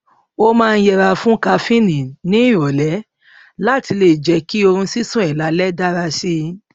ó máa ń yẹra fún kafíìnì ní ìrọlẹ láti lè jẹ kí oorun sísùn ẹ lálẹ dára si